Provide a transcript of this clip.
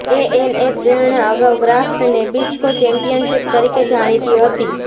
ANA પ્રેરણા અગાઉ Kraft Nabisco championship તરીકે જાણીતી હતી